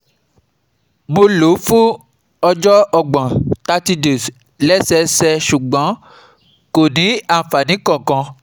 Mo lò ó fún ọjọ́ ọgbọ̀n thirty days lẹ́sẹẹsẹ, ṣùgbọ́n kò ní àǹfààní kankan